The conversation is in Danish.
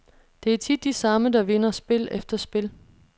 Det er tit de samme, der vinder spil efter spil.